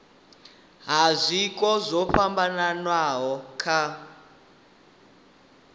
ha zwiko zwo fhambanaho kha